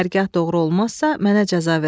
Hərgah doğru olmazsa, mənə cəza verərsən.